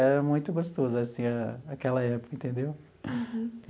Era muito gostoso assim a aquela época, entendeu?